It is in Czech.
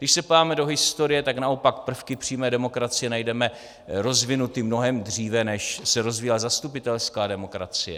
Když se podíváme do historie, tak naopak prvky přímé demokracie najdeme rozvinuty mnohem dříve, než se rozvíjela zastupitelská demokracie.